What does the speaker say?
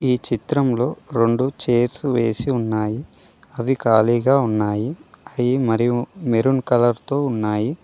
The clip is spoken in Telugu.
ఈ చిత్రంలో రెండు చైర్స్ వేసి ఉన్నాయి అవి ఖాళీగా ఉన్నాయి అయి మరియు మెరూన్ కలర్ తో ఉన్నాయి.